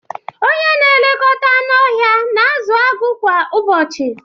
Onye na-elekọta anụ ọhịa na-azụ agụ kwa ụbọchị